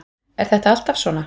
Er þetta alltaf svona?